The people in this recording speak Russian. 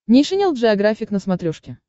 нейшенел джеографик на смотрешке